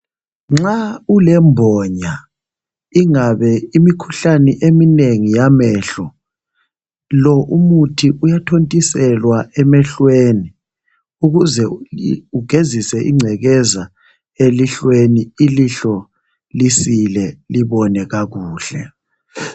Nxa ulembonya ingabe imikhuhlane eminengi yamehlo lo umuthi uyathontiselwa emehlweni ukuze ugezise ingcekeza elihlweni ilihlo lisile libone kakuhle.